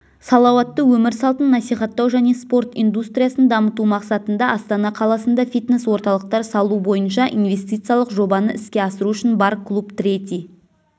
салауатты өмір салтын насихаттау және спорт индустриясын дамыту мақсатында астана қаласында фитнес-орталықтар салу бойынша инвестициялық жобаны іске асыру үшін бар-клуб третий